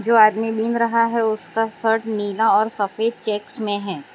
जो आदमी गिन रहा है उसका शर्ट नीला और सफेद चेक्स में है।